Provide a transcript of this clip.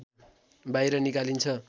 बाहिर निकालिन्छ